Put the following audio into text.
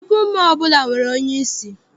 Shọpịn mọọ ọbụla nwere onyeisi.